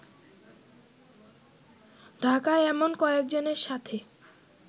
ঢাকায় এমন কয়েকজনের সাথে